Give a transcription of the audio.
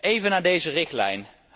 Even naar deze richtlijn.